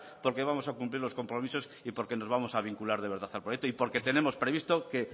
porque vamos a cumplir los compromisos y porque nos vamos a vincular de verdad al proyecto y porque tenemos previsto que